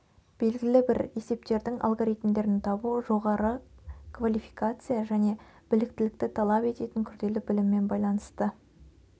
белгілі бір есептердің алгоритмдерін табу жоғары квалификация және біліктілікті талап ететін күрделі біліммен байланысты